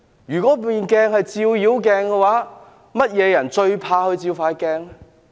如果調查委員會是一面照妖鏡，哪些人最怕照這鏡子？